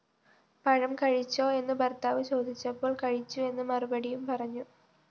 പഴംകഴിച്ചോ? എന്നു ഭര്‍ത്താവു ചോദിച്ചപ്പോള്‍ കഴിച്ചുഎന്ന്മറുപടിയും പറഞ്ഞു